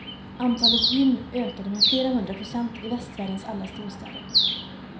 Antalet gym ökade med flera hundra procent i västvärldens alla storstäder.